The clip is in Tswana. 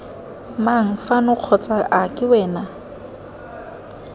mang fano kgotsa ake wena